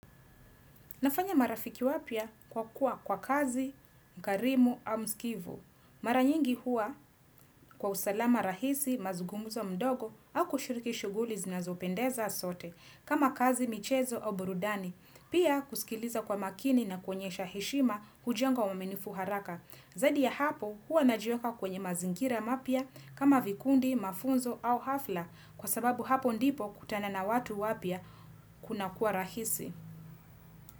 Nafanya marafiki wapya kwa kuwa kwa kazi, mkarimu au mskivu. Mara nyingi hua kwa usalama rahisi, mazungumzo mdogo au kushiriki shughuli zinazopendeza sote kama kazi michezo au burudani. Pia kusikiliza kwa makini na kuonyesha heshima hujenga uaminifu haraka. Zaidi ya hapo hua najiweka kwenye mazingira mapya kama vikundi, mafunzo au hafla kwa sababu hapo ndipo hukutana na watu wapya kunakua rahisi.